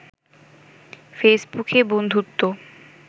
ফেসবুকে বন্ধুত্ব